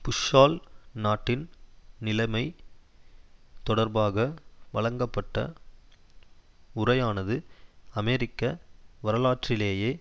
புஷ்ஷால் நாட்டின் நிலைமை தொடர்பாக வழங்கப்பட்ட உரையானது அமெரிக்க வரலாற்றிலேயே